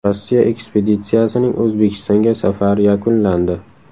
Rossiya ekspeditsiyasining O‘zbekistonga safari yakunlandi .